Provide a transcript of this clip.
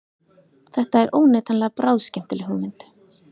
Þetta er óneitanlega bráðskemmtileg hugmynd